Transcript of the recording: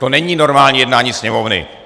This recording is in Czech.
To není normální jednání sněmovny!